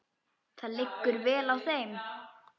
Það liggur vel á þeim.